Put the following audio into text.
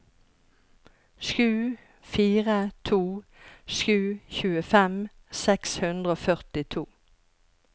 sju fire to sju tjuefem seks hundre og førtito